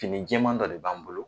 Fini jɛɛman dɔ de b'an bolo.